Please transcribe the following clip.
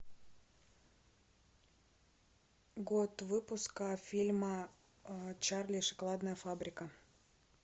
год выпуска фильма чарли и шоколадная фабрика